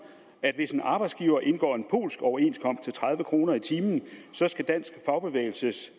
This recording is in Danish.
at hvis en arbejdsgiver indgår en polsk overenskomst tredive kroner i timen så skal dansk fagbevægelses